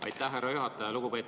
Aitäh, härra juhataja!